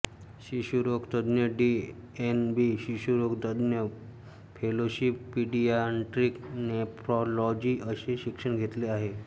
शिशुरोग तज्ञ D N B शिशुरोग तज्ञ फेलोशिप पीडीयाट्रिक नेफ्रॉलॉजी असे शिक्षण घेतले आहे